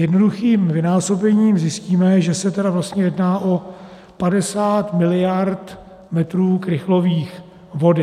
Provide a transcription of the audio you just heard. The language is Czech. Jednoduchým vynásobením zjistíme, že se tedy vlastně jedná o 50 miliard metrů krychlových vody.